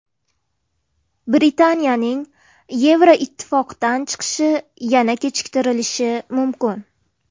Britaniyaning Yevroittifoqdan chiqishi yana kechiktirilishi mumkin.